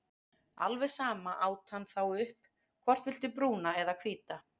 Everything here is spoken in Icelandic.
Alveg sama át hann þá upp, hvort viltu brúna eða hvíta?